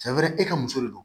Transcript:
Cɛ wɛrɛ e ka muso de don